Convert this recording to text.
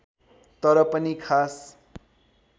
तर पनि खास